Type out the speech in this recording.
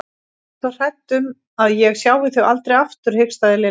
Ég er svo hrædd um að ég sjái þau aldrei aftur hikstaði Lilla.